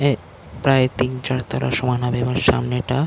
এ প্রায় তিন-চার তলার সমান হবে এবং সামনেটা--